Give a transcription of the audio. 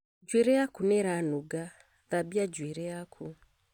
Njuĩrĩ yaku nĩ ĩranunga, thambia njuĩrĩ yaku